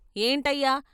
" ఏంటయ్యా!